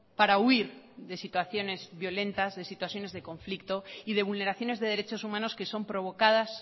para huir de situaciones violentas de situaciones de conflicto y de vulneraciones de derechos humanos que son provocadas